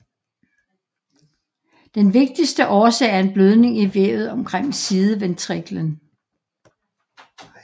Den vigtigste årsag er en blødning i vævet omkring sideventriklen